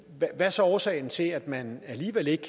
hvad er så årsagen til at man alligevel ikke